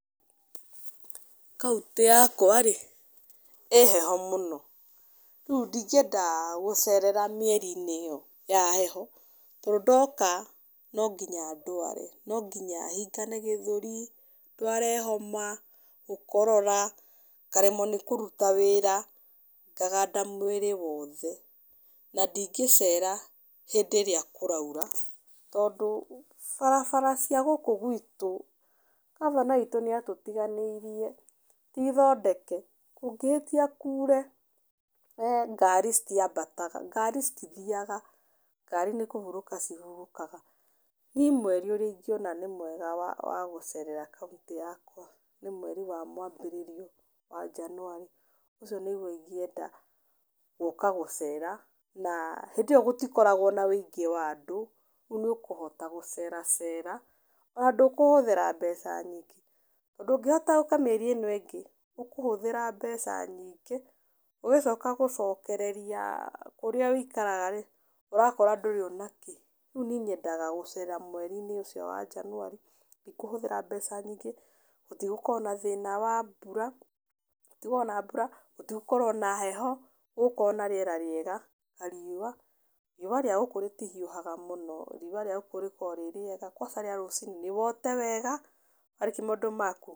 Kauntĩ yakwa-rĩ, ĩ heho mũno. Rĩu ndingĩenda gũcerera mĩeri-inĩ ĩyo ya heho, tondũ ndoka no nginya ndware, no nginya hingane gĩthũri, ndware homa, gũkorora, ngaremwo nĩ kũruta wĩra, ngaganda mwĩrĩ woothe na ndingĩcera hĩndĩ ĩrĩa kũraura, tondũ barabara cia gũkũ gwitũ ngabana witũ nĩatũtiganĩirie, ti thondeke, kũngĩhĩtia kure ngari citiambataga, ngari citithiaga, ngari nĩkũhurũka cihurũkaga. Niĩ mweri ũrĩa ingĩona nĩ mwega wa wa gũcerera kauntĩ yakwa nĩ mweri wa mwambĩrĩrio wa Januari. Ũcio nĩguo ingĩwenda gũka gũcera na haĩndĩ ĩyo gũtikoragwo na wĩingĩ wa andũ, rĩu nĩũkũhota gũceracera ona ndũkũhũthĩra mbeca nyingĩ, tondũ ũngĩhota ũke mĩeri ĩno ĩngĩ ũkũhũthĩra mbeca nyigĩ, ũgĩcoka gũcokereria kũrĩa wĩikaraga-rĩ, ũrakora ndũrĩ onakĩ. Rĩu niĩ nyendaga gũcera mweri-inĩ ũcio wa Januari, ndikũhũthĩra mbeca nyingĩ, gũtigũkorwo na thĩna wa mbura, gũtigũkorwo na mbura, gũtigũkorwo na heho, gũgũkorwo na rĩera rĩega na riũa, riũa rĩa gũkũ rĩtihiũhaga mũno, riũa rĩa gũkũ rĩkoragwo rĩ rĩega, kwaca rĩa rũciinĩ, nĩwote wega warĩkia maũndũ maku.